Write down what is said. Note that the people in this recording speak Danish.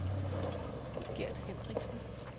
Gert Hendriksen